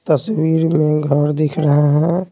तस्वीर में घर दिख रहे हैं।